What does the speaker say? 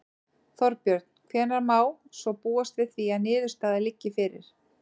Þorbjörn: Hvenær má svo búast við því að niðurstaða liggi fyrir?